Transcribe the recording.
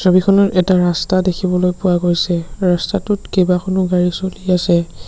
ছবিখনত এটা ৰাস্তা দেখিবলৈ পোৱা গৈছে ৰাস্তাটোত কেইবাখনো গাড়ী চলি আছে।